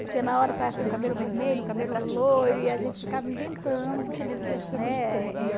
Porque na hora saia assim um cabelo vermelho, um cabelo loiro e a gente ficava inventando, né?